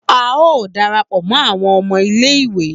A o darapọ mọ awọn ọmọ ilé ìwé